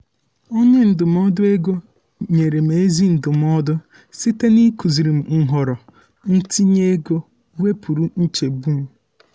onye ndụmọdụ ego nyere m ezi ndụmọdụ site n’ịkụziri m nhọrọ ntinye ego nke wepụrụ nchegbu m.